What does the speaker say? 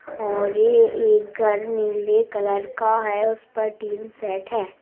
और ये एक घर नीले कलर का है उस पर टीन सेट है।